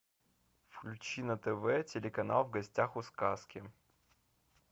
включи на тв телеканал в гостях у сказки